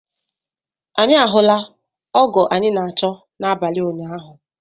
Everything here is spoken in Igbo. Anyi ahụla ọgo anyị na achọ n'abali ụnyaahụ